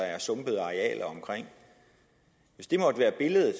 er sumpede arealer omkring hvis det måtte være billedet